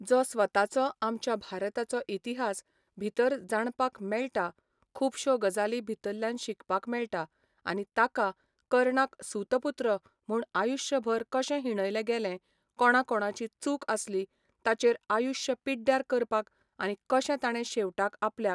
जो स्वताचो आमच्या भारताचो इतिहास भितर जाणपाक मेळटा खुबश्यो गजाली भितरल्यान शिकपाक मेळटा आनी ताका कर्णाक सूत पूत्र म्हण आयूश्यभर कशें हिणयले गेले कोणा कोणाची चूक आसली ताचे आयूश्य पिड्ड्यार करपाक आनी कशें तांणे शेवटाक आपल्याक